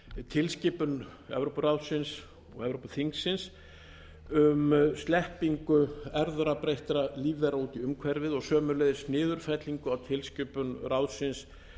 tilskipun evrópuráðsins og evrópuþingsins um sleppingu erfðabreyttra lífvera út í umhverfið og sömuleiðis niðurfellingu á tilskipun ráðsins